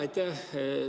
Aitäh!